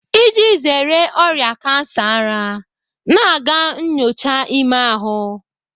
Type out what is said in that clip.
Iji zere ọrịa kansa ara, na-aga nnyocha ime ahụ.